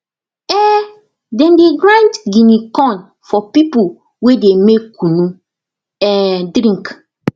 um dem dey grind guinea corn for people wey dey make kunu um drink